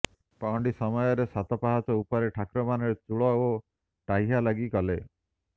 ପହଣ୍ଡି ସମୟରେ ସାତ ପାହଚ ଉପରେ ଠାକୁରମାନେ ଚୂଳ ଓ ଟାହିଆ ଲାଗି କଲେ